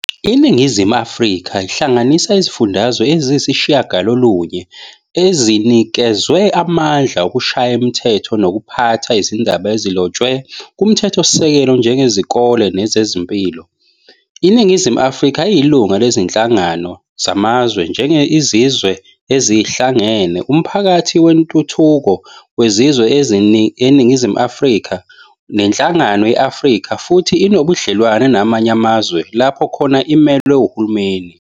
iNingizimu Afrika ihlanganisa iziFundazwe eziyisishiyagalolunye, ezinikezwe amandla ukushaya imithetho nokuphatha izindaba ezilotshwe kuMthethosisekelo njengezikole nezempilo. iNingizimu Afrika iyilunga lezinhlangano zamazwe njenge-IZizwe Ezihlangene, umPhakathi weNtuthuko weZizwe eziseNingizumu yeAfrika neNhlangano ye-Afrika futhi inobudlelwane namanye amazwe lapho khona imelwe uhulumeni.